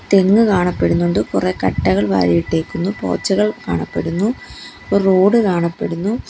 തെങ്ങ് കാണപ്പെടുന്നുണ്ട് കുറെ കട്ടകൾ വാരി ഇട്ടേക്കുന്നു പോച്ചകൾ കാണപ്പെടുന്നു ഒരു റോഡ് കാണപ്പെടുന്നു.